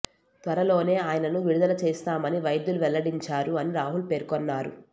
త్వరలోనే ఆయనను విడుదల చేస్తామని వైద్యులు వెల్లడించారు అని రాహుల్ పేర్కొన్నారు